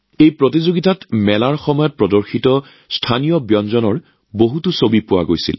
এই প্ৰতিযোগিতাত মেলাৰ সময়ত স্থানীয় খাদ্যৰ বহু ছবি দেখা গৈছিল